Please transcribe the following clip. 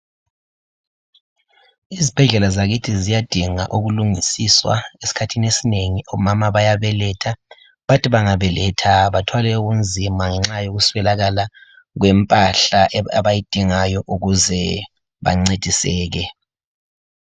Izibhedlela zakithi ziyadinga ukulungisiswa, esikhathini esinengi omama bayabeletha bathi bengabeletha bathwale ubunzima ngenxa yokuswelakala kwempahla abayidingayo ukuze bancediseke.